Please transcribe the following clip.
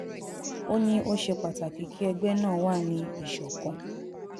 ó ní ó ṣe pàtàkì kí ẹgbẹ́ náà wà ní ìṣọ̀kan